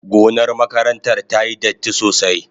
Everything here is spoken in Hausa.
Gonar makarantar tayi datti sosai.